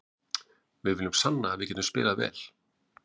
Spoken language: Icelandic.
Við viljum sanna að við getum spilað vel.